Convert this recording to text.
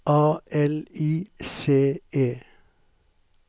A L I C E